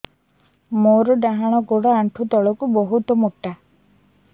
ମୋର ଡାହାଣ ଗୋଡ ଆଣ୍ଠୁ ତଳୁକୁ ବହୁତ ମୋଟା